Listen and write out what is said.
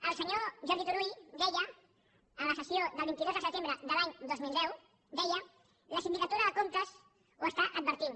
el senyor jordi turull deia en la sessió del vint dos de setembre de l’any dos mil deu la sindicatura de comptes ho adverteix